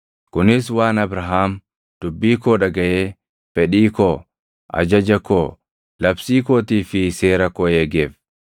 Kunis waan Abrahaam dubbii koo dhagaʼee fedhii koo, ajaja koo, labsii kootii fi seera koo eegeef.”